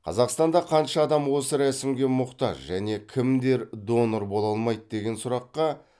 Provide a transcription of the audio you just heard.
қазақстанда қанша адам осы рәсімге мұқтаж және кімдер донор бола алмайды деген сұраққа